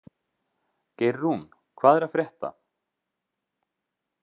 Geirrún, hvað er að frétta?